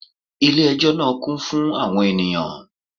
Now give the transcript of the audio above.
Ilé ẹjọ́ náà kún fún àwọn ènìyàn